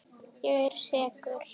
Ég er sekur.